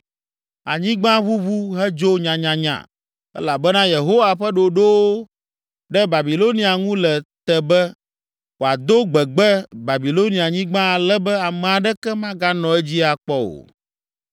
Anyigba ʋuʋu hedzo nyanyanya elabena Yehowa ƒe ɖoɖowo ɖe Babilonia ŋu le te be, wòado gbegbe Babilonianyigba ale be ame aɖeke maganɔ edzi akpɔ o.